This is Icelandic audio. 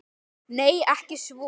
Nei, ekki svo